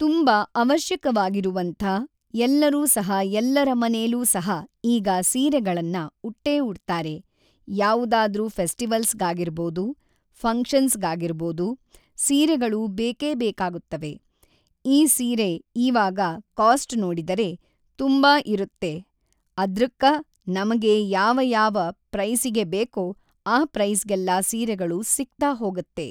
ತುಂಬ ಅವಶ್ಯಕವಾಗಿರುವಂಥ ಎಲ್ಲರೂ ಸಹ ಎಲ್ಲರ ಮನೆಲೂ ಸಹ ಈಗ ಸೀರೆಗಳನ್ನ ಉಟ್ಟೇ ಉಡ್ತಾರೆ ಯಾವುದಾದ್ರೂ ಫೆಸ್ಟಿವಲ್ಸ್‌ಗಾಗಿರ್ಬೋದು ಫಂಕ್ಷನ್ಸ್‌ಗಾಗಿರ್ಬೋದು ಸೀರೆಗಳು ಬೇಕೆ ಬೇಕಾಗುತ್ತವೆ ಈ ಸೀರೆ ಈವಾಗ ಕಾಶ್ಟ್ ನೋಡಿದರೆ ತುಂಬ ಇರುತ್ತೆ ಅದೃಕ್ಕ ನಮಗೆ ಯಾವ ಯಾವ ಪ್ರೈಸಿಗೆ ಬೇಕೋ ಆ ಪ್ರೈಸ್‌ಗೆಲ್ಲ ಸೀರೆಗಳು ಸಿಗ್ತಾ ಹೋಗುತ್ತೆ